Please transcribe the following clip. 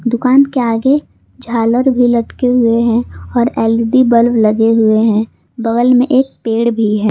दुकान के आगे झालर भी लटके हुए हैं और एल_ई_डी बल्ब लगे हुए हैं बगल में एक पेड़ भी है।